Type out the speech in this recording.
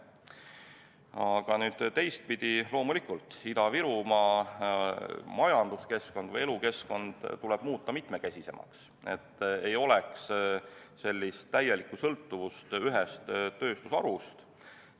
Aga teistpidi, loomulikult tuleb Ida-Virumaa majanduskeskkond või elukeskkond muuta mitmekesisemaks, et ei oleks täielikku sõltuvust ühest tööstusharust.